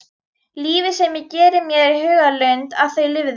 Lífið sem ég gerði mér í hugarlund að þau lifðu.